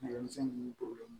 Nɛgɛmisɛnnin ninnu porobilɛmu